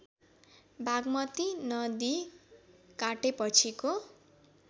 बाग्मती नदी काटेपछिको